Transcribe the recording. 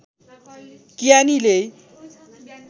कियानी लेइ